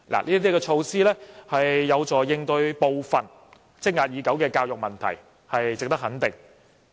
這些措施有助應對部分積壓已久的教育問題，是值得肯定的。